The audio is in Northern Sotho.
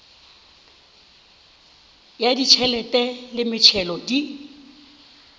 ya ditšhelete le metšhelo di